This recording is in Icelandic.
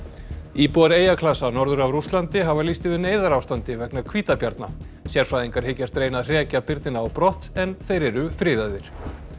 íbúar eyjaklasa norður af Rússlandi hafa lýst yfir neyðarástandi vegna hvítabjarna sérfræðingar hyggjast reyna að hrekja á brott en þeir eru friðaðir